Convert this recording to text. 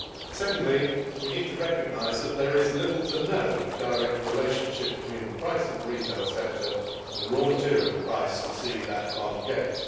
Secondly, we need to recognise that there is little or no direct relationship between the price in the retail sector and the raw material price received at the farm gate.